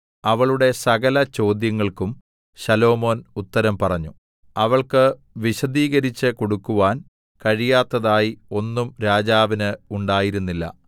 അവളുടെ സകലചോദ്യങ്ങൾക്കും ശലോമോൻ ഉത്തരം പറഞ്ഞു അവൾക്ക് വിശദീകരിച്ച് കൊടുക്കാൻ കഴിയാത്തതായി ഒന്നും രാജാവിന് ഉണ്ടായിരുന്നില്ല